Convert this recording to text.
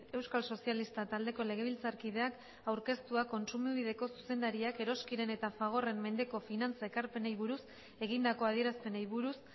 euskal sozialistak taldeko legebiltzarkideak aurkeztua kontsumobideko zuzendariak eroskiren eta fagorren mendeko finantza ekarpenei buruz egindako adierazpenei buruz